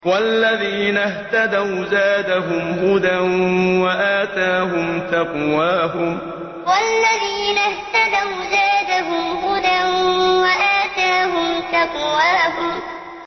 وَالَّذِينَ اهْتَدَوْا زَادَهُمْ هُدًى وَآتَاهُمْ تَقْوَاهُمْ وَالَّذِينَ اهْتَدَوْا زَادَهُمْ هُدًى وَآتَاهُمْ تَقْوَاهُمْ